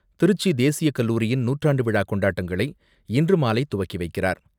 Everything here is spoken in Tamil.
திருச்சி தேசியக் கல்லூரியின் நூற்றாண்டு விழா கொண்டாட்டங்களை இன்று மாலை துவக்கி வைக்கிறார்.